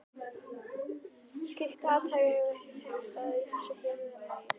Slíkt athæfi hafði ekki þekkst áður í þessu byggðarlagi.